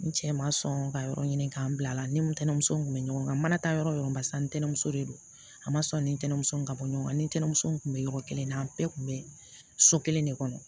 N cɛ ma sɔn ka yɔrɔ ɲini k'an bila ne ni ntɛnɛmuso tun bɛ ɲɔgɔn kan mana taa yɔrɔ o yɔrɔ barisa ni ntɛnɛnɛnso de don a ma sɔn ni ntɛnɛnw ye ka bɔ ɲɔgɔn kan ni ntɛnɛnsen tun bɛ yɔrɔ kelen na an bɛɛ kun bɛ so kelen de kɔnɔ